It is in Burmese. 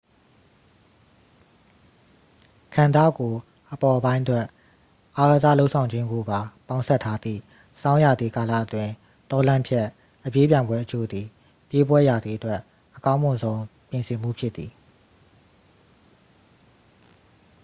ခန္ဓကိုယ်အပေါ်ပိုင်းအတွက် အားကစားလုပ်ဆောင်ခြင်းကိုပါ ပေါင်းစပ်ထားသည့် ဆောင်းရာသီကာလအတွင်း တောလမ်းဖြတ် အပြေးပြိုင်ပွဲအချို့သည် ပြေးပွဲရာသီအတွက် အကောင်းမွန်ဆုံး ပြင်ဆင်မှုဖြစ်သည်